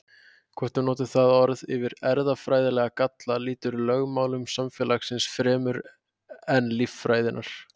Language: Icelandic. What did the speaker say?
Hvort við notum það orð yfir erfðafræðilega galla, lýtur lögmálum samfélagsins fremur en líffræðinnar.